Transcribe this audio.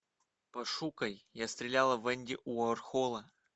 пошукай я стреляла в энди уорхола